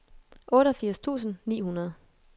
otteogfirs tusind ni hundrede